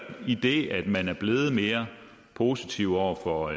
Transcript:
det i det at man er blevet mere positiv over for